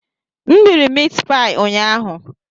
M riri meatpie ụnyaahụ.